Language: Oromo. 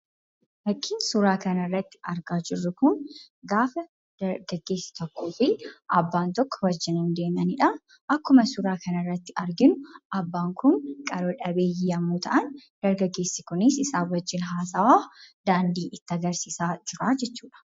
Fakkiin suuraa kanarratti argaa jirru kun gaafa dargaggeessi tokkoo fi abbaan tokko wajjiniin deemanidha. Akkuma suuraa kanarratti arginu, abbaan kun qaroo dhabeeyyii yemmuu ta'an, dargaggeessi kunis isaan wajjin haasawaa daandii itti agarsiisaa jira jechuudha.